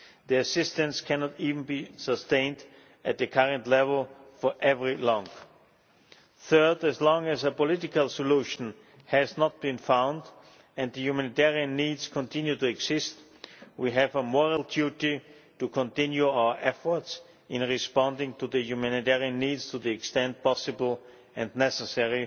The assistance cannot even be sustained at the current level for very long. Third, as long as a political solution has not been found, and the humanitarian needs continue to exist, we have a moral duty to continue our efforts in responding to the humanitarian needs to the extent possible and necessary,